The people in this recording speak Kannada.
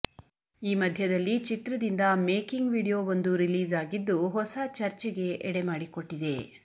ಈ ಮದ್ಯದಲ್ಲಿ ಚಿತ್ರದಿಂದ ಮೇಕಿಂಗ್ ವಿಡಿಯೋವೊಂದು ರಿಲೀಸ್ ಆಗಿದ್ದು ಹೊಸ ಚರ್ಚೆಗೆ ಎಡೆ ಮಾಡಿಕೊಟ್ಟಿದೆ